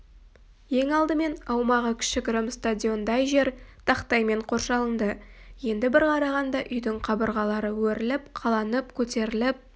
ең алдымен аумағы кішігірім стадиондай жер тақтаймен қоршалынды енді бір қарағанда үйдің қабырғалары өріліп қаланып көтеріліп